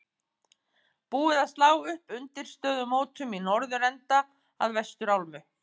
Búið að slá upp undirstöðu mótum í norðurenda að vestur álmu.